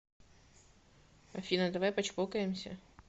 афина давай почпокаемся